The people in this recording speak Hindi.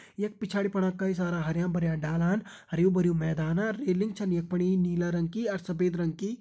यख पिछाड़ी फणा कई सारा हरयां भरयां डालान हरयूं भरयूं मैदान अर रेलिंग छन यख फणी नीला रंग की अर सफ़ेद रंग की।